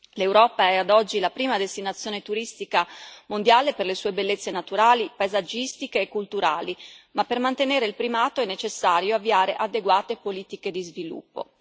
L'Europa è ad oggi la prima destinazione turistica mondiale per le sue bellezze naturali, paesaggistiche e culturali, ma per mantenere il primato è necessario avviare adeguate politiche di sviluppo.